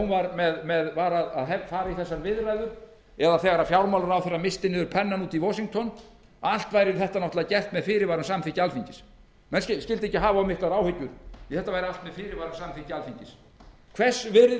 þegar hún var að fara í þessar viðræður eða þegar fjármálaráðherrann missti niður pennann úti í washington að allt væri þetta náttúrlega gert með fyrirvara um samþykki alþingis menn skyldu ekki hafa of miklar áhyggjur því þetta væri allt með fyrirvara og samþykki alþingis hvers virði